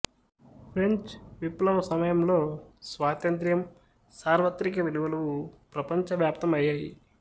French విప్లవం సమయంలో స్వాతంత్ర్యం సార్వత్రిక విలువలు ప్రపంచ వ్యాప్తం అయ్యాయి